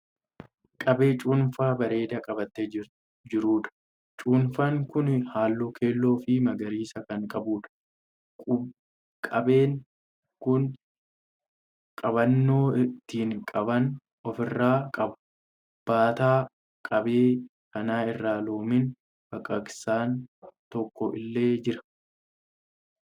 Qabee cuunfaa bareedaa qabatee jiruudha. Cuunfaan kun halluu keelloo fi magariisa kan qabuudha. Qabeen kun qabannoo ittiin qaban ofi irraa qaba. Baataa qabee kanaa irra loomiin baqaqsaan tokko illee jira.